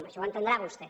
això ho entendrà vostè